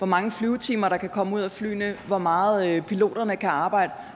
mange flyvetimer der kan komme ud af flyene hvor meget piloterne kan arbejde